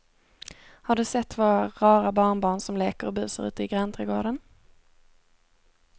Har du sett våra rara barnbarn som leker och busar ute i grannträdgården!